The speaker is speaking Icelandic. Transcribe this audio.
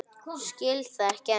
Skil það ekki enn.